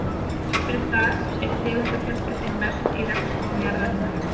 Þrátt fyrir það er tegundafjölbreytnin mest í regnskógum jarðarinnar.